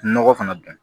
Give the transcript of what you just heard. Nɔgɔ fana dun